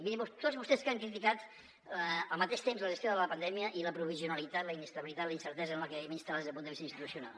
mirin tots vostès que han criticat al mateix temps la gestió de la pandèmia i la provisionalitat la inestabilitat la incertesa en la que vivim instal·lats des del punt de vista institucional